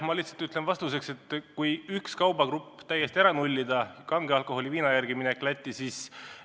Ma lihtsalt ütlen vastuseks, et on hea, kui üks kaubagrupp täiesti ära nullida, kange alkoholi ja viina järele minek Lätti ei tasu siis ära.